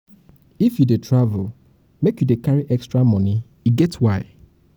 if you if you dey travel make you dey carry extra um moni e get why.